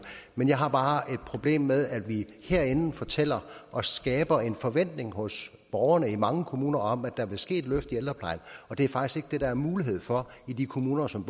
men jeg har bare et problem med at vi herinde fortæller og skaber en forventning hos borgerne i mange kommuner om at der vil ske et løft i ældreplejen og det er faktisk ikke det der er mulighed for i de kommuner som